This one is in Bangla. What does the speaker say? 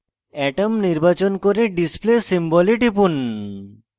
atom নির্বাচন করে display symbol এ টিপুন